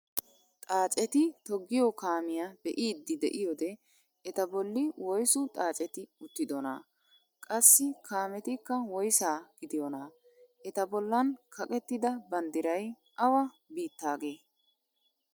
Xaacetti toggiyoo kaamiyaa be'iidi de'iyoode eta bolli woysu xaaceti uttidonaa? qassi kaametikka woysaa gidiyoonaa? eta bollan kaqettida banddiray awa biittaagee?